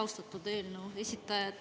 Austatud eelnõu esitaja!